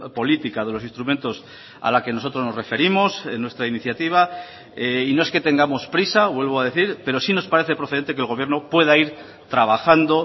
política de los instrumentos a la que nosotros nos referimos en nuestra iniciativa y no es que tengamos prisa vuelvo a decir pero sí nos parece procedente que el gobierno pueda ir trabajando